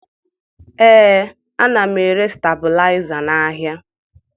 Ee, ana m ere stebilaịza n'ahịa